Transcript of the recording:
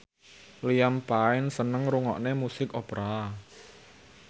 Liam Payne seneng ngrungokne musik opera